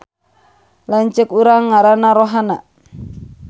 Lanceuk urang ngaranna Rohana